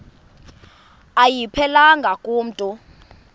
ayiphelelanga ku mntu